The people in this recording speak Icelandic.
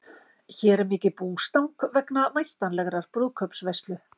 Hér er mikið bústang vegna væntanlegrar brúðkaupsveislu.